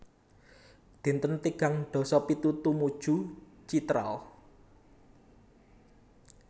Dinten tigang dasa pitu Tumuju Chitral